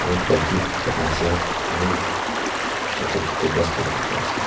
aro back bi bulhina asey aro chuto chuto ghas khan dikhi asey.